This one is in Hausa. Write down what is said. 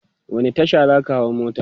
wani Tasha zaka hau mota?